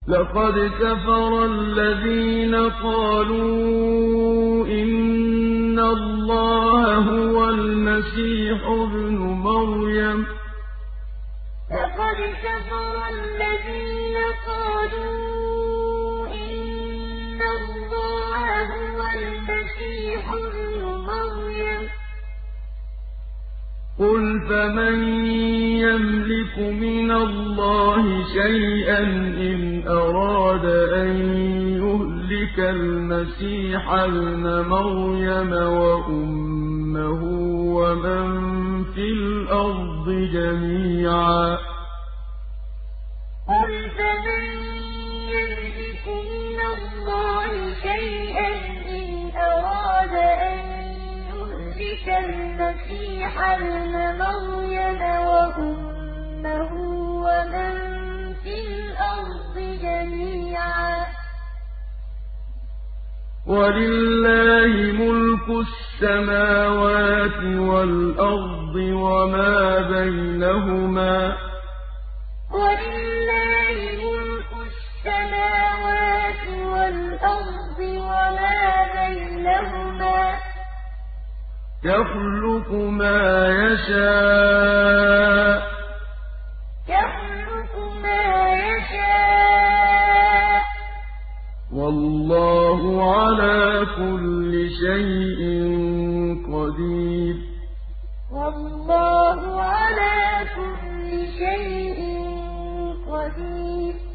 لَّقَدْ كَفَرَ الَّذِينَ قَالُوا إِنَّ اللَّهَ هُوَ الْمَسِيحُ ابْنُ مَرْيَمَ ۚ قُلْ فَمَن يَمْلِكُ مِنَ اللَّهِ شَيْئًا إِنْ أَرَادَ أَن يُهْلِكَ الْمَسِيحَ ابْنَ مَرْيَمَ وَأُمَّهُ وَمَن فِي الْأَرْضِ جَمِيعًا ۗ وَلِلَّهِ مُلْكُ السَّمَاوَاتِ وَالْأَرْضِ وَمَا بَيْنَهُمَا ۚ يَخْلُقُ مَا يَشَاءُ ۚ وَاللَّهُ عَلَىٰ كُلِّ شَيْءٍ قَدِيرٌ لَّقَدْ كَفَرَ الَّذِينَ قَالُوا إِنَّ اللَّهَ هُوَ الْمَسِيحُ ابْنُ مَرْيَمَ ۚ قُلْ فَمَن يَمْلِكُ مِنَ اللَّهِ شَيْئًا إِنْ أَرَادَ أَن يُهْلِكَ الْمَسِيحَ ابْنَ مَرْيَمَ وَأُمَّهُ وَمَن فِي الْأَرْضِ جَمِيعًا ۗ وَلِلَّهِ مُلْكُ السَّمَاوَاتِ وَالْأَرْضِ وَمَا بَيْنَهُمَا ۚ يَخْلُقُ مَا يَشَاءُ ۚ وَاللَّهُ عَلَىٰ كُلِّ شَيْءٍ قَدِيرٌ